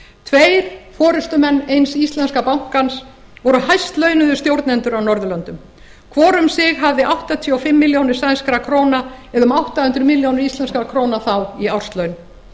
tveir forustumenn eins íslenska bankans voru hæst launuðu stjórnendur á norðurlöndum hvor um sig hafði áttatíu og fimm milljónir sænskra króna eða um átta hundruð milljóna íslenskra króna í árslaun